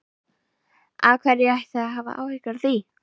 Af hverju ætti ég að hafa áhyggjur af því?